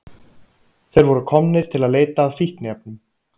Þeir voru komnir til að leita að fíkniefnum.